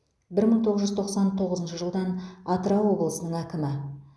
бір мың тоғыз жүз тоқсан тоғызыншы жылдан атырау облысының әкімі